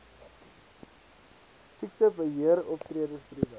siektebe heeroptredes briewe